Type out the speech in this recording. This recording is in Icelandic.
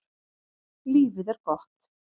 Lífið er gott.